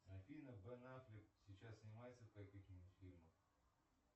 афина бен аффлек сейчас снимается в каких нибудь фильмах